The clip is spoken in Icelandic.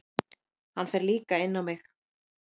Hann fer líka inn á mig.